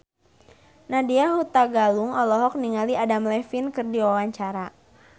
Nadya Hutagalung olohok ningali Adam Levine keur diwawancara